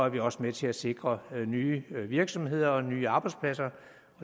vi også med til at sikre nye virksomheder og nye arbejdspladser